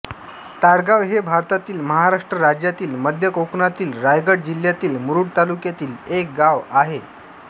ताडगाव हे भारतातील महाराष्ट्र राज्यातील मध्य कोकणातील रायगड जिल्ह्यातील मुरूड तालुक्यातील एक गाव आहे